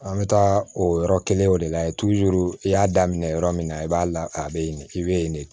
An bɛ taa o yɔrɔ kelenw de la i y'a daminɛ yɔrɔ min na i b'a la a be yen i be yen de